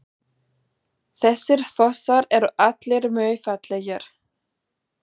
Þessir fossar eru allir mjög fallegir.